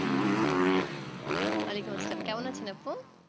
ওয়ালাইকুম আসসালাম কেমন আছেন আপু